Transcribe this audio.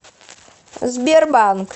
сбербанк